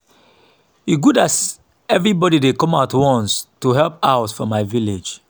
e good as everybody dey come out once to help out for my village